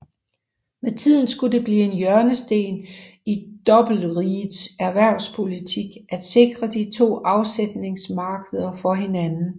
Med tiden skulle det blive en hjørnesten i Dobbeltrigets erhvervspolitik at sikre de to afsætningsmarkeder for hinanden